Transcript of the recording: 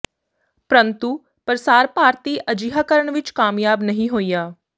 ਪਰੰਤੂ ਪ੍ਰਸਾਰ ਭਾਰਤੀ ਅਜਿਹਾ ਕਰਨ ਵਿਚ ਕਾਮਯਾਬ ਨਹੀਂ ਹੋਇਆ